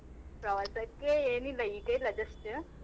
ಪ್ರವಾಸಕ್ಕೆ ಏನಿಲ್ಲ ಈಗ ಇಲ್ಲ just .